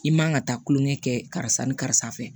I man ka taa kulonkɛ kɛ karisa ni karisa fɛ